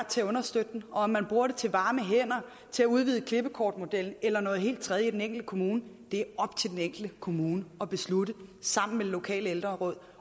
til at understøtte den og om man bruger den til varme hænder til at udvide klippekortmodellen eller noget helt tredje i den enkelte kommune er op til den enkelte kommune at beslutte sammen med det lokale ældreråd